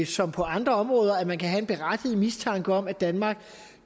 som på andre områder at man kan have en berettiget mistanke om at danmark